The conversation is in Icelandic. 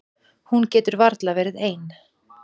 Hún getur varla verið ein.